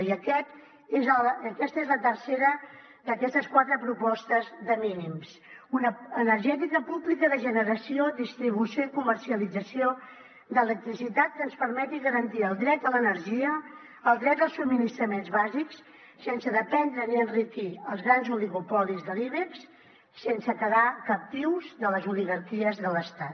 i aquesta és la tercera d’aquestes quatre propostes de mínims una energètica pública de generació distribució i comercialització d’electricitat que ens permeti garantir el dret a l’energia el dret als subministraments bàsics sense dependre ni enriquir els grans oligopolis de l’ibex sense quedar captius de les oligarquies de l’estat